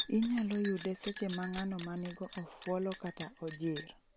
Inyolo yude seche ma ng'ano ma nigo ofuolo kata ojir